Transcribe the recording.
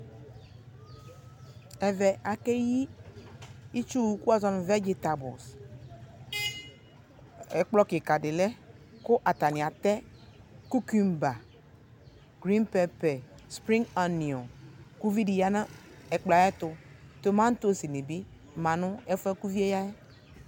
Ɛvɛ, akeyi itsuwʋ kʋ woazɔ nʋ vɛgitabʋl Ɛkplɔ kika di lɛ kʋ atani atɛ kukumba, griŋ pɛɛpɛ, spriŋg anioŋ kʋ uvi di ya nʋ ɛkplɔ ɛ ayɛtʋ Tomatosi ni bi ma nʋ ɛfue boa kʋ uvie ya yɛ